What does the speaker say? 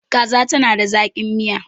kaza tana da zaki. Miya